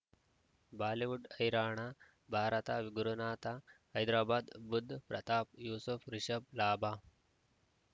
Bollywood ಹೈರಾಣ ಭಾರತ ಗುರುನಾಥ ಹೈದರಾಬಾದ್ ಬುಧ್ ಪ್ರತಾಪ್ ಯೂಸುಫ್ ರಿಷಬ್ ಲಾಭ